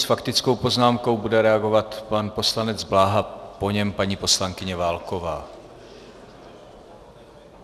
S faktickou poznámkou bude reagovat pan poslanec Bláha, po něm paní poslankyně Válková.